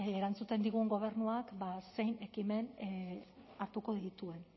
erantzuten digun gobernuak zein ekimen hartuko dituen